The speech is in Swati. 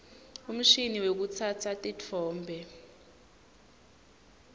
umshini wekutsatsa titfombe